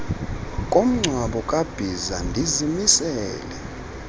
komngcwabo kabhiza ndizimisele